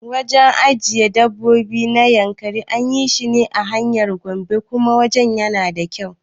Wajen ajiyan dabbobi na Yankari anyi shine a hanyar Gombe kuma wajen yana da kyau